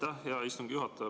Aitäh, hea istungi juhataja!